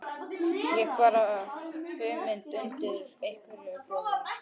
Ég bar hugmynd undir Eyjólf bróður.